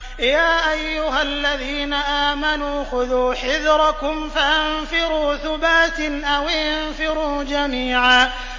يَا أَيُّهَا الَّذِينَ آمَنُوا خُذُوا حِذْرَكُمْ فَانفِرُوا ثُبَاتٍ أَوِ انفِرُوا جَمِيعًا